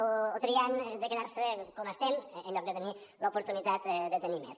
o triant de quedar se com estem en lloc de tenir l’oportunitat de tenir més